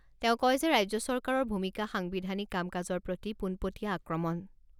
তেওঁ কয় যে ৰাজ্য চৰকাৰৰ ভূমিকা সাংবিধানিক কাম কাজৰ প্ৰতি পোনপটীয়া আক্ৰমণ।